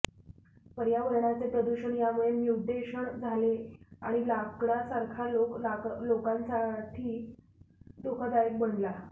पर्यावरणाचे प्रदूषण यामुळे म्युटेशन झाले आणि लाकडासारखा लोक लोकांसाठी धोकादायक बनला